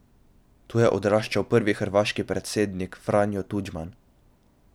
Tu je odraščal prvi hrvaški predsednik Franjo Tudžman.